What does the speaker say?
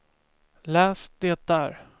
läs det där